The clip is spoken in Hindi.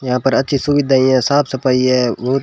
यहां पर अच्छी सुविधा है साफ सफाई है और--